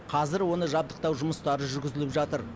қазір оны жабдықтау жұмыстары жүргізіліп жатыр